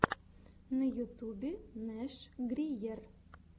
на ютубе нэш гриер